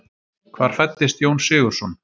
Hvar fæddist Jón Sigurðsson?